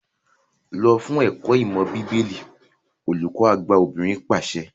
Lọ fún ẹ̀kọ́ ìmọ̀ bíbélì! olùkọ àgbà obìnrin pàṣẹ.